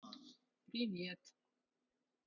привет